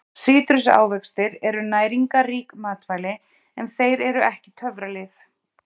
Sítrusávextir eru næringarrík matvæli en þeir eru ekki töfralyf.